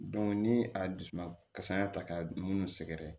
ni a dusu kasaya ta k'a munu sɛgɛrɛ